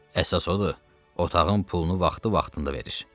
Əsas odur, otağın pulunu vaxtı-vaxtında verir.